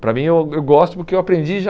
Para mim, eu eu gosto porque eu aprendi já...